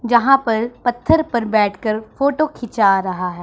जहां पर पत्थर पर बैठकर फोटो खींचा रहा है।